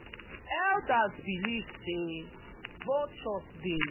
elders believe say vultures dey cleanse di land um spiritually um and them no dey pursue am comot.